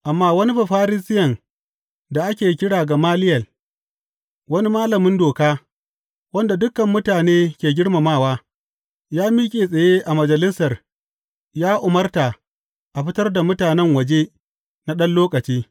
Amma wani Bafarisiyen da ake kira Gamaliyel, wani malamin doka, wanda dukan mutane ke girmamawa, ya miƙe tsaye a Majalisar ya umarta a fitar da mutanen waje na ɗan lokaci.